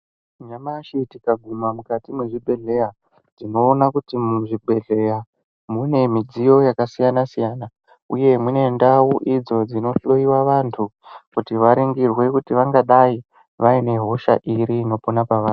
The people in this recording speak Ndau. Nyamashe tikagumha mukati mezvibhedhera tinoona kuti muzvibhedhlera mune midziyo yakasiyana-siyana uye mune ndau idzo dzinohloyiwa vantu kuti varingirwe kuti vangadai vaine hosha iri inopona pavari.